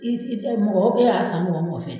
I tɛ mɔgɔ e y'a san mɔgɔ o fɛ